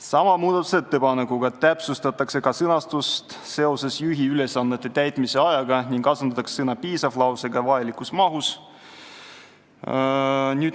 Sama muudatusettepanekuga täpsustatakse ka juhi ülesannete täitmise aega puudutavat sõnastust ning sõna "piisav" asendatakse sõnadega "vajalikus mahus".